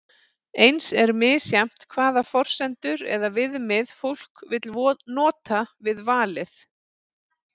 eins er misjafnt hvaða forsendur eða viðmið fólk vill nota við valið